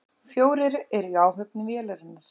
Fjórir eru í áhöfn vélarinnar